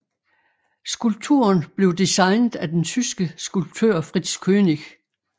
Skulpturen blev designet af den tyske skulptør Fritz Koenig